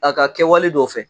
A ka kɛwale dɔ fɛ